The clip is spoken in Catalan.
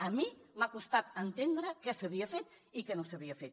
a mi m’ha costat entendre què s’havia fet i què no s’havia fet